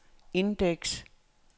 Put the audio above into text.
indeks